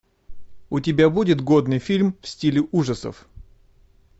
у тебя будет годный фильм в стиле ужасов